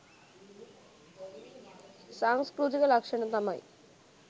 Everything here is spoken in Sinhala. සංස්කෘතික ලක්‍ෂණ තමයි